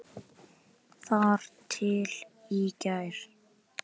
Þar til í gær.